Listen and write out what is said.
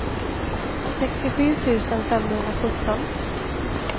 sextiosju tusen femhundrasjutton